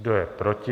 Kdo je proti?